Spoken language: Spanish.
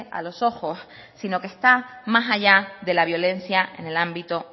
a los ojos sino que está más allá de la violencia en el ámbito